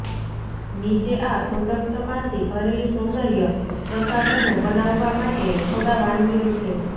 નીચે આ પ્રોડક્ટમાંથી ઘરેલુ સૌંદર્ય પ્રસાધનો બનાવવા માટે થોડા વાનગીઓ છે